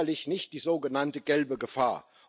Es ist sicherlich nicht die sogenannte gelbe Gefahr.